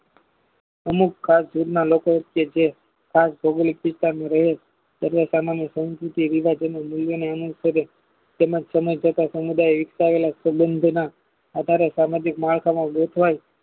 અમુક કાસ્ટના લોકો હશે જે કાસ્ટ ભૌગોલિક સિસ્ટનમાં રહેલ સભ્યતામાં સહન ની સહનભુતિ વિભાજનો ને નીવયને remove કરે તેના સમય તથા સમુદાય વિકસાવેલા સબંધના આધારે સામાજિક મહાસમાં ગોઠવાય